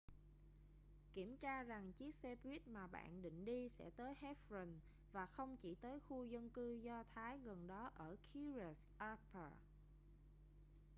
kiểm tra rằng chiếc xe buýt mà bạn định đi sẽ tới hebron và không chỉ tới khu dân cư do thái gần đó ở kiryat arba